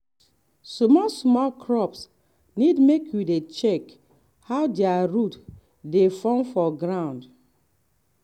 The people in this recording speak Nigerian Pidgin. small small crops need make you dey check how their root dey form for ground.